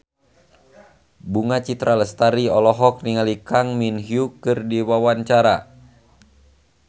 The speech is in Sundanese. Bunga Citra Lestari olohok ningali Kang Min Hyuk keur diwawancara